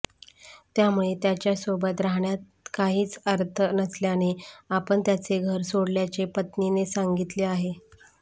त्यामुळे त्याच्यासोबत राहण्यात काहीच अर्थ नसल्याने आपण त्याचे घर सोडल्याचे पत्नीने सांगितले आहे